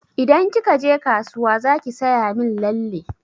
Idan kika je kasuwa zaki saya min lalle.